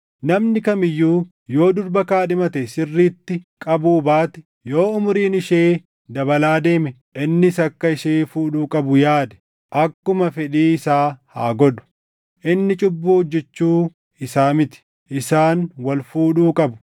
Namni kam iyyuu yoo durba kaadhimate sirriitti qabuu baate, yoo umuriin ishee dabalaa deemee innis akka ishee fuudhuu qabu yaade, akkuma fedhii isaa haa godhu. Inni cubbuu hojjechuu isaa miti. Isaan wal fuudhuu qabu.